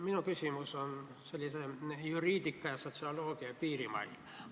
Minu küsimus on juriidika ja sotsioloogia piirimailt.